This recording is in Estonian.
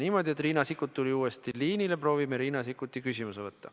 Kuna Riina Sikkut tuli uuesti liinile, siis proovime Riina Sikkuti küsimuse võtta.